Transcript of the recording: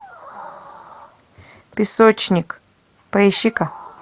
песочник поищи ка